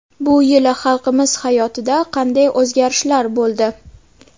Bu yili xalqimiz hayotida qanday o‘zgarishlar bo‘ldi?